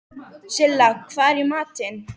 Silla, hvað er í matinn?